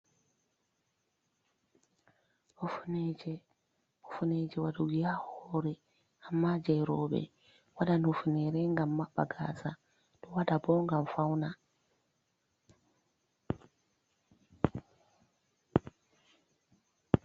Hufuneeje, hufuneeje waɗugo haa hoore, ammaa jey rowɓe. Waɗan hufuneere, ngam maɓɓa gaasa, waɗan bo ngam fawna.